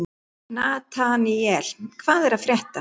Nataníel, hvað er að frétta?